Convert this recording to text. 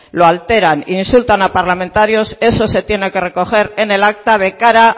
lo alteran insultan a parlamentarios eso se tiene que recoger en el acta de cara